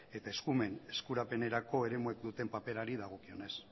eta eskumen eskurapenerako eremuek duten paperari dagokionez